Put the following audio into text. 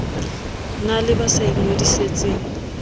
na le ba sa ingodisetseng